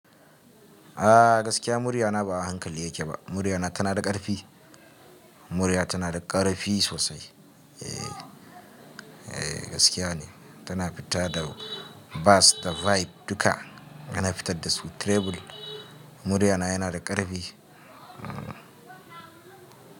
A gaskiya murya na ba a hankali yake ba. Murya na tana da ƙarfi. Murya tana da ƙarfi sosai. Eh, gaskiya ne. Tana fita da bass da vibe duka. Yana fitar da su treble. Murya na yana da ƙarfi. Hmm.